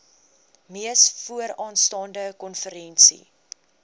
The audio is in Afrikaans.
mees vooraanstaande konferensie